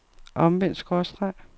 omvendt skråstreg